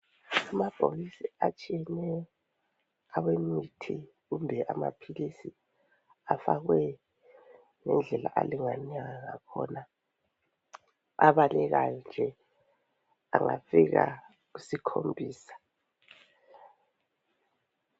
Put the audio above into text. Amabhokisi atshiyeneyo awemithi kumbe amaphilisi afakwe ngendlela alingana ngakhona abalekayo nje angafika isikhombisa.